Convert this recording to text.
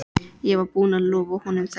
Ég var búinn að lofa honum þessu.